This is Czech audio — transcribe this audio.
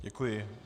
Děkuji.